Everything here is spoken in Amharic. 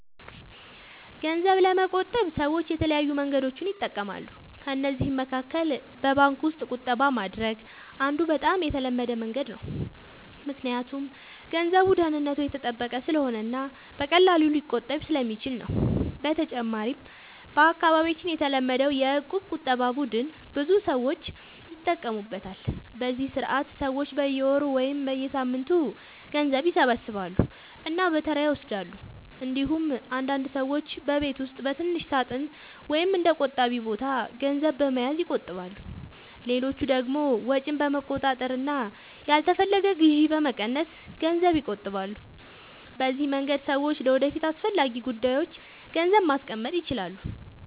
ገንዘብ ለመቆጠብ ሰዎች የተለያዩ መንገዶችን ይጠቀማሉ። ከእነዚህ መካከል በባንክ ውስጥ ቁጠባ ማድረግ አንዱ በጣም የተለመደ መንገድ ነው፣ ምክንያቱም ገንዘቡ ደህንነቱ የተጠበቀ ስለሆነ እና በቀላሉ ሊቆጠብ ስለሚችል ነው። በተጨማሪም በአካባቢያችን የተለመደው የእቁብ ቁጠባ ቡድን ብዙ ሰዎች ይጠቀሙበታል፤ በዚህ ስርዓት ሰዎች በየወሩ ወይም በየሳምንቱ ገንዘብ ይሰበስባሉ እና በተራ ይወስዳሉ። እንዲሁም አንዳንድ ሰዎች በቤት ውስጥ በትንሽ ሳጥን ወይም በእንደ “ቆጣቢ ቦታ” ገንዘብ በመያዝ ይቆጥባሉ። ሌሎች ደግሞ ወጪን በመቆጣጠር እና ያልተፈለገ ግዢ በመቀነስ ገንዘብ ይቆጥባሉ። በዚህ መንገድ ሰዎች ለወደፊት አስፈላጊ ጉዳዮች ገንዘብ ማስቀመጥ ይችላሉ።